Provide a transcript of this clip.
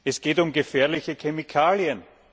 Es geht um gefährliche Chemikalien!